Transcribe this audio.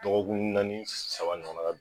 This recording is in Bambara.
Dɔgɔkun naani saba ɲɔgɔn na ka bi